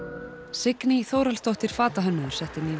Signý Þórhallsdóttir fatahönnuður setti nýverkið